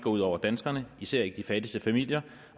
ud over danskerne især ikke de fattigste familier